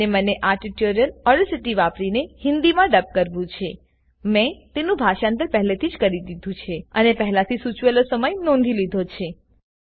અને મને આ ટ્યુટોરીયલ ઓડેસીટી વાપીને હિન્દી મા ડબ કરવું છેમેં તેનું ભાષાંતર પહેલેથી જ કરી દીધું છેઅને પહેલાથી સુચવેલો સમય નોધી લીધો છે